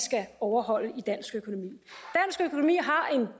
skal overholde i dansk økonomi har en